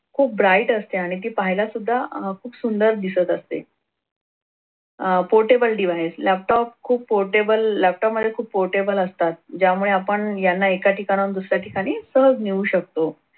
खूप bright असते आणि ती पहायला सुद्धा खूप सुंदर दिसत असते. अह portable device laptop खूप portable laptop मध्ये खूप portable असतात ज्यामुळे आपण यांना एका ठिकाणाहून दुसऱ्या ठिकाणी सहज नेऊ शकतो.